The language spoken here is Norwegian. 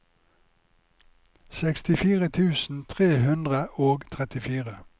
sekstifire tusen tre hundre og trettifire